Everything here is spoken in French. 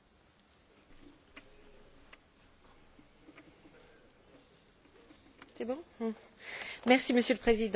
Monsieur le Président, Messieurs les Commissaires, mes chers collègues, nous sommes à un moment charnière du débat sur l'avenir du Fonds social européen.